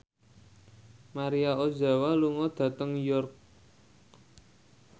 Maria Ozawa lunga dhateng York